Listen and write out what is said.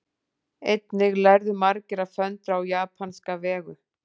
Einnig lærðu margir að föndra á japanska vegu.